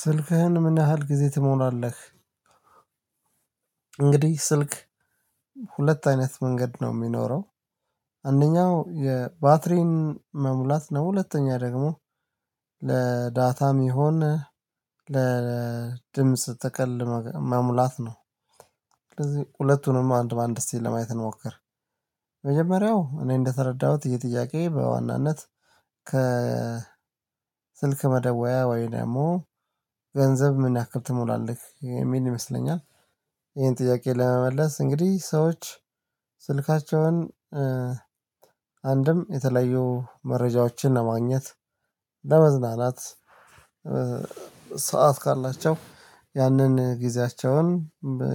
ስልክህን ምን ያህል ጊዜ ትሞላለህ እንግዲህ ስልክ ሁለት አይነት መንገድ ነው የሚኖረው አንደኛው የባትሪን መሙላት ነው ሁለተኛ ደግሞ ለዳታም ይሁን ለድምጽ ጥቅል መሙላት ነው ስለዚህ ሁለቱንም አንድ በአንድ እስቲ ለማየት እንሞክር መጀመሪያው እኔ እንደተረዳሁት ይህ ጥያቄ በዋናነት ከ ስልክ መደወያ ወይ ደግሞ ገንዘብ ምን ያክል ትሞላለህ የሚል ይመስለኛል ይሄን ጥያቄ ለመመለስ እንግዲህ ሰዎች ስልካቸውን አንድም የተለያዩ መረጃዎችን ለማግኘት ለመዝናናት ሰዓት ካላቸው ያንን ጊዜያቸውን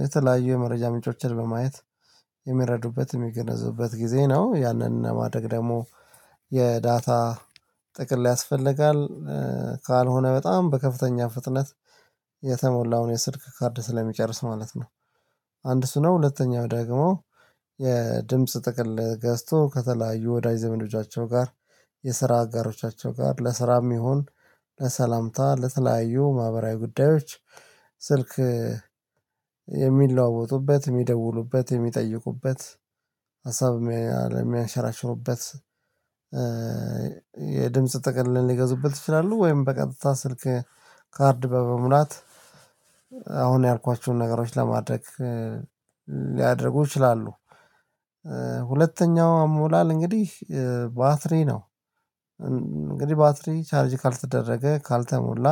የተለያዩ የመረጃ ምንጮችን በማየት የሚረዱበት የሚገነዘቡበት ጊዜ ነው ያንን ለማድረግ ደግሞ የዳታ ጥቅል ያስፈልጋል ካልሆነ በጣም በከፍተኛ ፍጥነት ነው ሁለተኛው ደግሞ የድምጽ ጥቅል ገዝቶ ከተለያዩ ወዳጅ ዘመዶቻቸው ጋር የስራ አጋሮቻቸው ጋር ለስራም ይሁን ለሰላምታ ለተለያዩ ማህበራዊ ጉዳዮች ስልክ የሚደውሉበት የሚጠይቁበት ሀሳብ የሚያንሸራሽሩበት የድምጽ ጥቅል ሊገዙበት ይችላሉ ወይም በቀጥታ ስልክ ካርድ በመሙላት አሁን ያልኳችሁን ነገሮች ለማድረግ ሊያደርጉ ይችላሉ ሁለተኛው አሞላል እንግዲህ ባትሪ ነው እንግዲህ ባትሪ ቻርጅ ካልተደረገ ካልተሞላ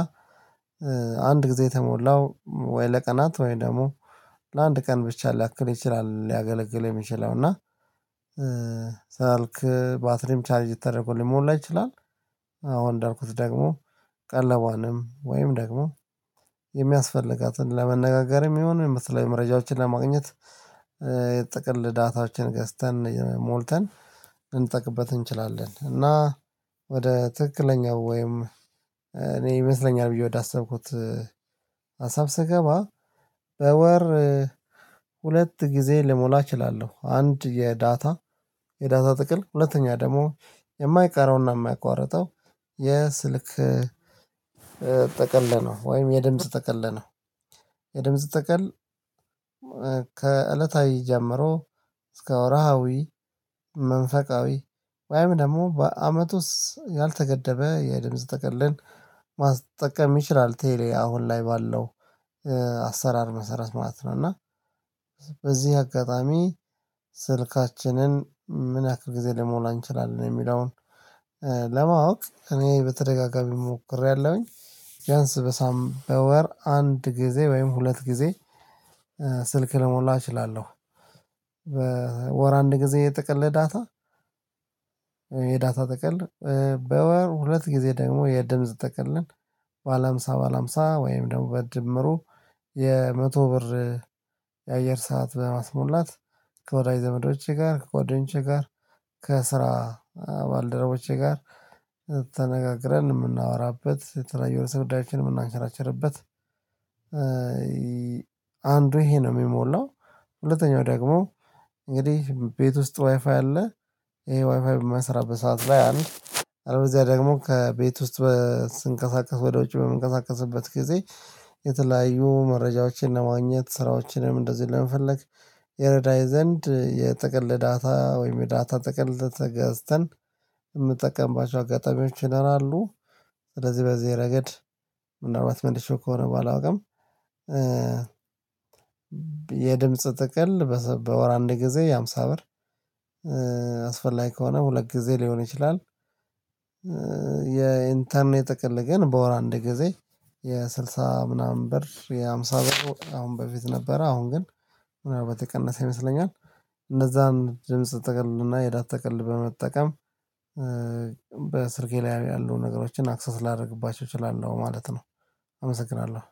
አንድ ጊዜ የተሞላው ወይ ለቀናት ወይ ደግሞ ለአንድ ቀን ብቻ ሊያክል ይችላል ሊያገለግል የሚችለው እና ስልክ ባትሪም ቻርጅ ተደርጎ ሊሞላ ይችላል አሁን እንዳልኩት ደግሞ ቀለቧንም ወይም ደግሞ የሚያስፈልጋትን ለመነጋገርም ይሁን የተለያዩ መረጃዎችን ለማግኘት የጥቅል ዳታዎችን ገዝተን ሞልተን ልንጠቀምበት እንችላለን እና ወደ ትክክለኛው ወይም እኔ ይመስለኛል ብዬ ወዳሰብኩት ሀሳብ ስገባ በወር ሁለት ጊዜ ልሞላ እችላለሁ አንድ የዳታ የዳታ ጥቅል ሁለተኛ ደግሞ የማይቀረውና የማይቋረጠው የስልክ ጥቅል ነው ወይም የድምጽ ጥቅል ነው የድምጽ ጥቅል ከእለታዊ ጀመሮ እስከ ወርሃዊ መንፈቃዊ ወይም ደግሞ በአመቱ ውስጥ ያልተገደበ የድምጽ ጥቅልን ማስጠቀም ይችላል ቴሌ አሁን ላይ ባለው አሰራር መሰረት ማለት ነው እና በዚህ አጋጣሚ ስልካችንን ምን ያክል ጊዜ ልንሞላ እንችላለን የሚለውን ለማወቅ እኔ በተደጋጋሚ ሞክሬያለሁኝ ቢያንስ በወር አንድ ጊዜ ወይም ሁለት ጊዜ ስልክ ልሞላ እችላለሁ በወር አንድ ጊዜ የጥቅል ዳታ የዳታ ጥቅል በወር ሁለት ጊዜ ደግሞ የድምጽ ጥቅልን ባለ ሃምሳ ባለ ሃምሳ ወይም ደግሞ በድምሩ የመቶ ብር የአየር ሰዓት በማስሞላት ከወዳጅ ዘመዶቼ ጋር ከጓደኞቼ ጋር ከስራ ባልደረቦቼ ጋር ተነጋግረን የምናወራበት የተለያዩ ርዕሰ ጉዳዮችን የምናንሸራቸርበት አንዱ ይሄ ነው የሚሞላው ሁለተኛው ደግሞ እንግዲህ ቤት ውስጥ ዋይፋይ አለ ይሄ ዋይፋይ በማይሰራበት ሰዓት ላይ አንድ አለበለዚያ ደግሞ ከቤት ውስጥ ስንቀሳቀስ ወደ ውጭ በምንቀሳቀስበት ጊዜ የተለያዩ መረጃዎችን ለማግኘት ስራዎችንም እንደዚህ ለመፈለግ ይረዳኝ ዘንድ የጥቅል ለዳታ ወይም የዳታ ጥቅል ገዝተን የምጠቀምባቸው አጋጣሚዎች ይኖራሉ ስለዚህ በዚህ ረገድ ምናልባት መልሼው ከሆነ አላውቅም የድምጽ ጥቅል በወር አንድ ጊዜ የሃምሳ ብር አስፈላጊ ከሆነ ሁለት ጊዜ ሊሆን ይችላል የኢንተርኔት ጥቅል ግን በወር አንድ ጊዜ የስድሳ ምናምን ብር የአምሳ ብር አሁን በፊት ነበረ አሁን ግን ምናልባት የቀነሰ ይመስለኛል እነዛን ድምጽ ጥቅልና የዳታ ጥቅል በመጠቀም በስልኬ ላይ ያሉ ነገሮችን አክሰስ ላደርግባቸው እችላለሁ ማለት ነው አመሰግናለሁ።